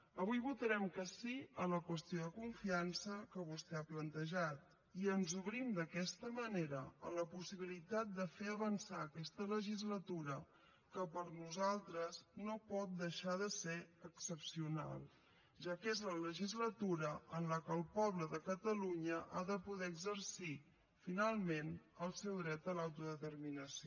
avui votarem que sí a la qüestió de confiança que vostè ha plantejat i ens obrim d’aquesta manera a la possibilitat de fer avançar aquesta legislatura que per nosaltres no pot deixar de ser excepcional ja que és la legislatura en què el poble de catalunya ha de poder exercir finalment el seu dret a l’autodeterminació